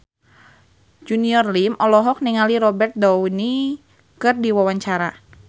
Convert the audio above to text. Junior Liem olohok ningali Robert Downey keur diwawancara